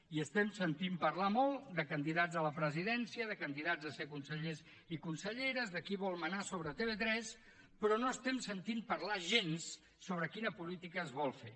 i estem sentint parlar molt de candidats a la presidència de candidats a ser consellers i conselleres de qui vol manar sobre tv3 però no estem sentint parlar gens sobre quina política es vol fer